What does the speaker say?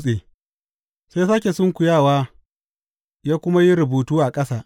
Sai ya sāke sunkuyawa ya kuma yi rubutu a ƙasa.